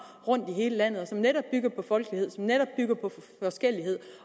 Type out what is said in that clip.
rundt i hele landet og som netop bygger på folkelighed og som netop bygger på forskellighed